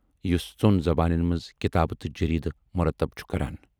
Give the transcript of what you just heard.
یُس ژۅن زبانَن مَنز کِتابہٕ تہٕ جریدٕ مُرتب چھُ کران۔